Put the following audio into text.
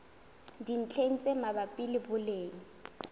dintlheng tse mabapi le boleng